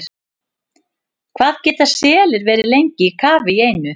Hvað geta selir verið lengi í kafi í einu?